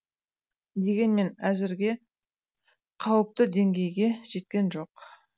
дегенмен әзірге қауіпті деңгейге жеткен жоқ